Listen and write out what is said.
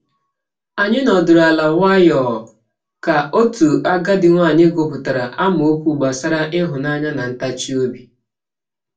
Anyị nọdụrụ ala nwayọọ ka otu agadi nwaanyị gụpụtara amaokwu gbasara ịhụnanya na ntachi obi.